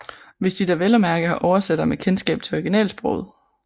Hvis de da vel at mærke har oversættere med kendskab til originalsproget